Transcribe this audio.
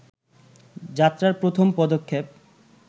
যাত্রার প্রথম পদক্ষেপ